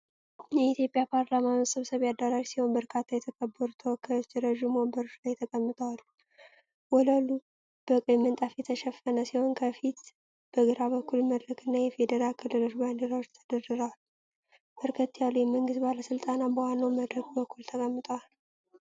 የኢትዮጵያ ፓርላማ መሰብሰቢያ አዳራሽ ሲሆን፣ በርካታ የተከበሩ ተወካዮች ረጅም ወንበሮች ላይ ተቀምጠው አሉ። ወለሉ በቀይ ምንጣፍ የተሸፈነ ሲሆን፣ ከፊት በግራ በኩል መድረክና የፌዴራል ክልሎች ባንዲራዎች ተደርድረዋል። በርከት ያሉ የመንግስት ባለስልጣናት በዋናው መድረክ በኩል ተቀምጠዋል።